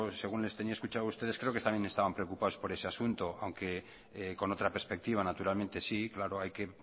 según les tenía escuchado a ustedes creo que también estaban preocupados por ese asunto aunque con otra perspectiva naturalmente sí claro hay que